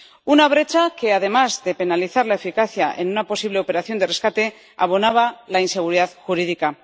una brecha que, además de penalizar la eficacia en una posible operación de rescate, abonaba la inseguridad jurídica.